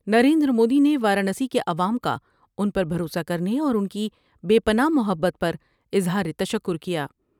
نریندر مودی نے وارانسی کے عوام کا ان پر بھروسہ کرنے اور ان کی بے پناہ محبت پر اظہار تشکر کیا ۔